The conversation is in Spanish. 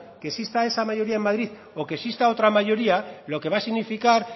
que exista esa mayoría en madrid o que exista otra mayoría lo que va a significar